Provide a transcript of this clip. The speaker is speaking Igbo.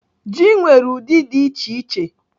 Ji nwere ụdị dị iche iche.